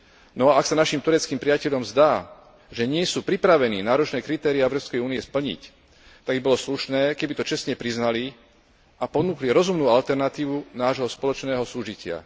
No ak sa našim tureckým priateľom zdá, že nie sú pripravení náročné kritéria Európskej únie splniť, tak by bolo slušné, keby to čestne priznali a ponúkli rozumnú alternatívu nášho spoločného súžitia.